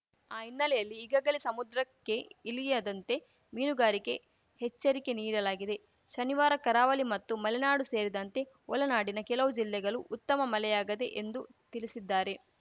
ಆ ಹಿನ್ನೆಲೆಯಲ್ಲಿ ಈಗಾಗಲೇ ಸಮುದ್ರಕ್ಕೆ ಇಲಿಯದಂತೆ ಮೀನುಗಾರಿಕೆ ಹೆಚ್ಚರಿಕೆ ನೀಡಲಾಗಿದೆ ಶನಿವಾರ ಕರಾವಲಿ ಮತ್ತು ಮಲೆನಾಡು ಸೇರಿದಂತೆ ಒಲನಾಡಿನ ಕೆಲವು ಜಿಲ್ಲೆಗಲು ಉತ್ತಮ ಮಲೆಯಾಗದೆ ಎಂದು ತಿಳಿಸಿದ್ದಾರೆ